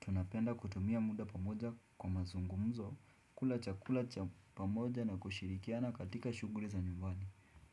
Tunapenda kutumia muda pamoja kwa mazungumzo, kula cha kula cha pamoja na kushirikiana katika shugri za nyumbani.